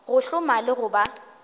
go hloma le go ba